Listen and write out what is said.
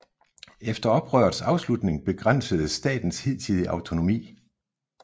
Efter oprørets afslutning begrænsedes statens hidtidige autonomi